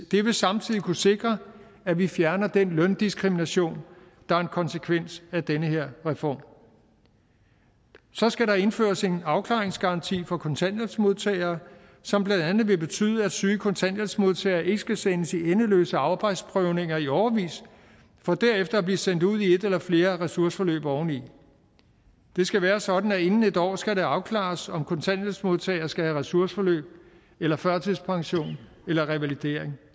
det vil samtidig kunne sikre at vi fjerner den løndiskrimination der er en konsekvens af den her reform så skal der indføres en afklaringsgaranti for kontanthjælpsmodtagere som blandt andet vil betyde at syge kontanthjælpsmodtagere ikke skal sendes i endeløse arbejdsprøvninger i årevis for derefter at blive sendt ud i et eller flere ressourceforløb oveni det skal være sådan at inden en år skal det afklares om kontanthjælpsmodtagere skal have ressourceforløb eller førtidspension eller revalidering